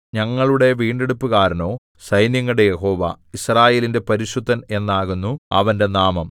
ഞങ്ങളുടെ വീണ്ടെടുപ്പുകാരനോ സൈന്യങ്ങളുടെ യഹോവ യിസ്രായേലിന്റെ പരിശുദ്ധൻ എന്നാകുന്നു അവന്റെ നാമം